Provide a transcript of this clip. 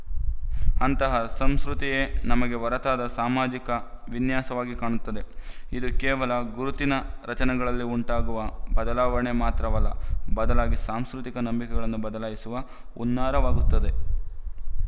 ಅಂತಹ ಸಂಸ್ಕೃತಿಯೇ ನಮಗೆ ಹೊರತಾದ ಸಾಮಾಜಿಕ ವಿನ್ಯಾಸವಾಗಿ ಕಾಣುತ್ತದೆ ಇದು ಕೇವಲ ಗುರುತಿನ ರಚನೆಗಳಲ್ಲಿ ಉಂಟಾಗುವ ಬದಲಾವಣೆ ಮಾತ್ರವಲ್ಲ ಬದಲಾಗಿ ಸಾಂಸ್ಕೃತಿಕ ನಂಬಿಕೆಗಳನ್ನೂ ಬದಲಾಯಿಸುವ ಹುನ್ನಾರವಾಗುತ್ತದೆ